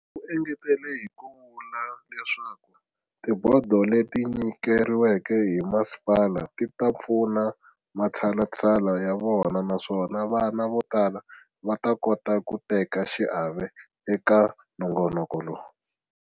U engetele hi ku vula leswaku tibodo leti nyikeriweke hi masipala ti ta pfuna matshalatshala ya vona naswona vana vo tala va ta kota ku teka xiave eka nongonoko lowu.